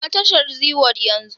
Shiga tashar zeeworld yanzu!